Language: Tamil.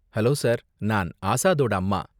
ஹலோ சார், நான் ஆஸாதோட அம்மா.